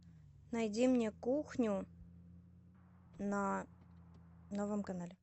найди мне кухню на новом канале